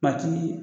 Matigi